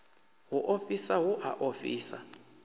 u ofhisa hu a ofhisa